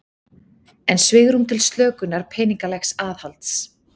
Enn svigrúm til slökunar peningalegs aðhalds